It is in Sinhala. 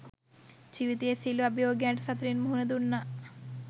ජීවිතයේ සියලු අභියෝගයන්ට සතුටින් මුහුණ දුන්නා.